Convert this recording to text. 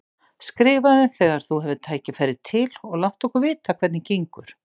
Skrifaðu þegar þú hefur tækifæri til og láttu okkur vita hvernig gengur.